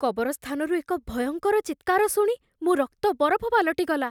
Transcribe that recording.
କବରସ୍ଥାନରୁ ଏକ ଭୟଙ୍କର ଚିତ୍କାର ଶୁଣି ମୋ ରକ୍ତ ବରଫ ପାଲଟିଗଲା।